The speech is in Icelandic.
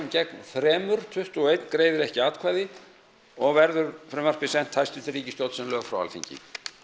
gegn þremur tuttugu og einn greiðir ekki atkvæði og verður frumvarpið sent hæstvirtri ríkisstjórn sem lög frá Alþingi